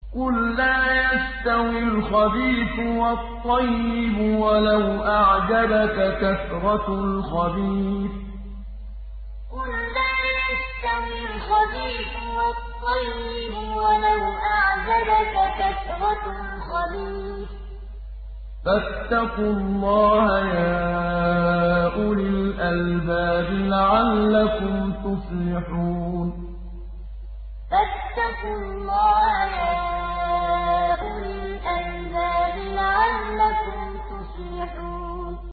قُل لَّا يَسْتَوِي الْخَبِيثُ وَالطَّيِّبُ وَلَوْ أَعْجَبَكَ كَثْرَةُ الْخَبِيثِ ۚ فَاتَّقُوا اللَّهَ يَا أُولِي الْأَلْبَابِ لَعَلَّكُمْ تُفْلِحُونَ قُل لَّا يَسْتَوِي الْخَبِيثُ وَالطَّيِّبُ وَلَوْ أَعْجَبَكَ كَثْرَةُ الْخَبِيثِ ۚ فَاتَّقُوا اللَّهَ يَا أُولِي الْأَلْبَابِ لَعَلَّكُمْ تُفْلِحُونَ